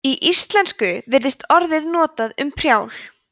í íslensku virðist orðið notað um prjál